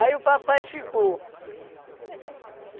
o papai ficou.